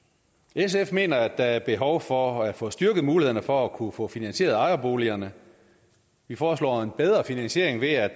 sf mener at der er behov for at få styrket mulighederne for at kunne få finansieret ejerboligerne vi foreslår en bedre finansiering ved at